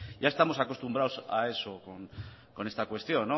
ya estamos acostumbrados a eso con esta cuestión